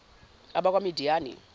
abakwamidiyani